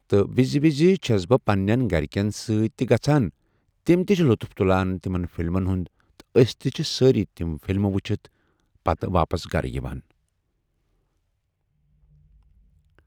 تہٕ وِزِ وِزِ چھَس بہٕ پنٛنٮ۪ن گَرِکٮ۪ن سۭتۍ تہِ گژھان تِم تہِ چھِ لطف تُلان تِمَن فِلمَن ہُنٛد تہٕ أسۍ چھِ سٲری تِم فِلمہٕ وٕچھِتھ پَتہٕ واپَس گَرٕ یِوان۔